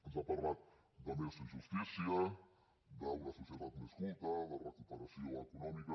ens ha parlat de més justícia d’una societat més culta de recuperació econòmica